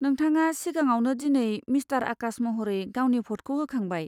नोंथाङा सिगाङावनो दिनै मिस्टार आकाश महरै गावनि भ'टखौ होखांबाय।